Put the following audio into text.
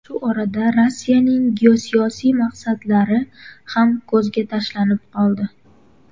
Shu orada Rossiyaning geosiyosiy maqsadlari ham ko‘zga tashlanib qoldi.